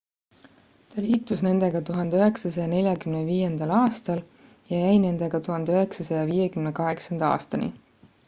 ta liitus nendega 1945 aastal ja jäi nendega 1958 aastani